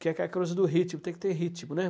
Que é aquela coisa do ritmo, tem que ter ritmo, né?